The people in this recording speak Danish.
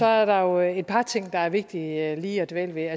er der jo et par ting der er vigtige lige at dvæle ved